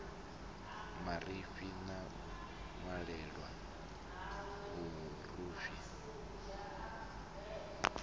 marifhi na u ṅwalelwa vhurufhi